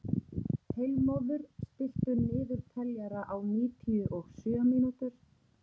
Heilmóður, stilltu niðurteljara á níutíu og sjö mínútur.